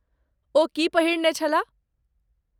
ओ की पहिरने छलाह?